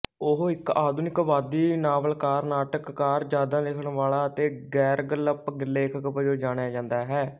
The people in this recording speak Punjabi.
ਉਹ ਇੱਕ ਆਧੁਨਿਕਵਾਦੀ ਨਾਵਲਕਾਰ ਨਾਟਕਕਾਰ ਯਾਦਾਂ ਲਿਖਣ ਵਾਲਾ ਅਤੇ ਗ਼ੈਰਗਲਪ ਲੇਖਕ ਵਜੋਂ ਜਾਣਿਆ ਜਾਂਦਾ ਹੈ